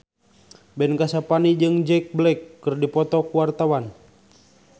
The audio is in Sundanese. Ben Kasyafani jeung Jack Black keur dipoto ku wartawan